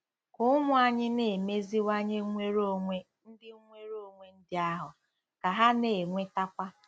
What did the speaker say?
Ka ụmụ anyị na-emeziwanye nwere onwe ndị nwere onwe ndị ahụ, ka ha na-enwetakwa